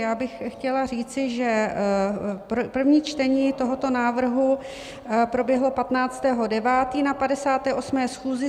Já bych chtěla říci, že první čtení tohoto návrhu proběhlo 15. 9. na 58. schůzi.